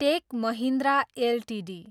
take Mahindra Ltd